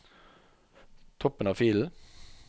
Toppen av filen